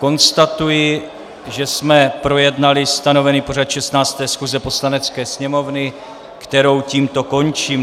Konstatuji, že jsme projednali stanovený pořad 16. schůze Poslanecké sněmovny, kterou tímto končím.